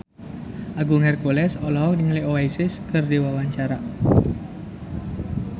Agung Hercules olohok ningali Oasis keur diwawancara